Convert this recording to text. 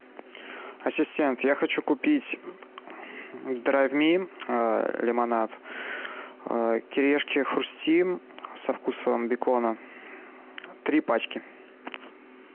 ассистент я хочу купить драйв ми лимонад кириешки хрустим со вкусом бекона три пачки